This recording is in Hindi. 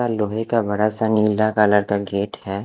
लोहे का बड़ा -सा नीला कलर का गेट है।